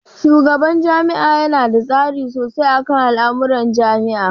Shugaban jami'a yana da tasiri sosai akan al'amuran jami'a